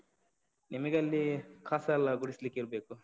ನಿಮಗೆ ಅಲ್ಲಿ ಕಸ ಎಲ್ಲ ಗುಡಿಸ್ಲಿಕ್ಕೆ ಇರ್ಬೇಕು,